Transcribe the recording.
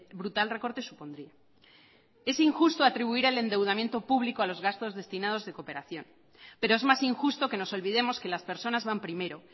brutal recorte supondría es injusto atribuir al endeudamiento público a los gastos destinados de cooperación pero es más injusto que nos olvidemos que las personas van primero